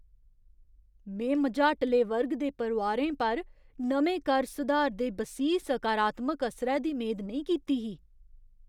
में मझाटले वर्ग दे परोआरें पर नमें कर सुधार दे बसीह् सकारात्मक असरै दी मेद नेईं कीती ही।